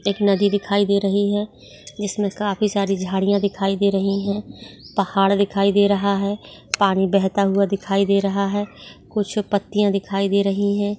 एक नदी दिखाई दे रही है जिसमे काफी सारी झाडिया दिखाई दे रही है पहाड़ दिखाई दे रहा है पानी बहता हुआ दिखाई दे रहा है कुछ पत्तिया दिखाई दे रही है।